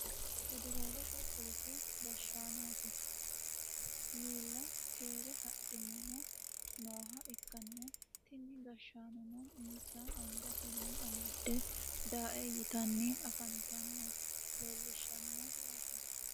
federaalete polise gashshaanote miilla keere haadhanni nooha ikkanna , tini gashshaanono insa angatenni amadde daae yitanni afantanno leelishshanno yaate .